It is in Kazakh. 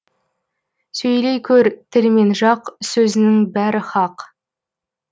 сөйлей көр тіл мен жақ сөзіңнің бәрі хақ